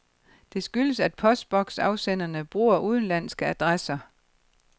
Det skyldes, at postboksafsenderne bruger udenlandske adresser.